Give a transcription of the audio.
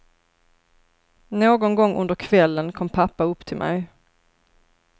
Någon gång under kvällen kom pappa upp till mig.